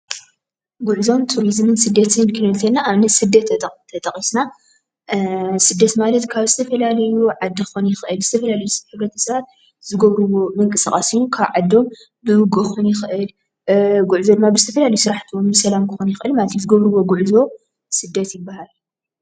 ጉዕዞን ቱሪዝምን እንትንርኢ እንተለና ስደት ኣብነት ስደት ማለት ካብ ዝተፈላለዩ ዓዲ ክኾን ይኽእል ዝተፈላለዩ ስራሕ ንምፍፃም ዝገብርዎ ምንቅስቓስ እዩ። ካብ ዓዶም ጉዕዞ ድማ ዝተፈላለዩ ስራሕቲ ክኾን ይኽእል ዝገብርዎ ጉዕዞ ስደት ይብሃል።'